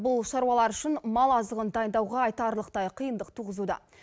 бұл шаруалар үшін мал азығын дайындауға айтарлықтай қиындық туғызуда